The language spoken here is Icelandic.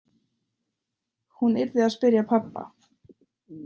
Hún yrði að spyrja pabba.